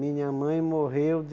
Minha mãe morreu de...